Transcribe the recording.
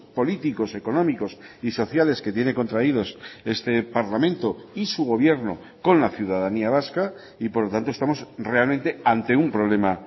políticos económicos y sociales que tiene contraídos este parlamento y su gobierno con la ciudadanía vasca y por lo tanto estamos realmente ante un problema